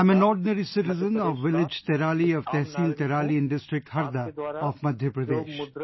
I am an ordinary citizen of Village Tiraali of Tehsil Tiraali in District Harda of Madhya Pradesh